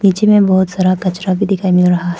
नीचे में बहुत सारा कचरा भी दिखाई मिल रहा है।